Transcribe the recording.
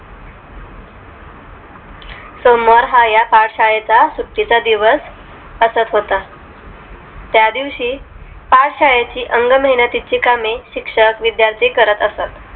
सोमवार हा पाठशाळेचा सुटीचा दिवस असत होता त्यादिवशी पाठशाळेची अंगमेहनीतीची कामे शिक्षक विद्यार्थी करत असत